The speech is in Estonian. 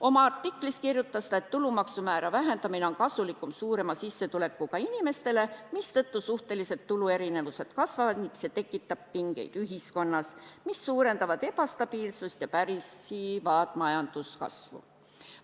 Oma artiklis kirjutas ta, et tulumaksumäära vähendamine on kasulikum suurema sissetulekuga inimestele, mistõttu suhtelised tuluerinevused kasvavad ning see tekitab pingeid ühiskonnas, mis suurendavad ebastabiilsust ja pärsivad majanduskasvu.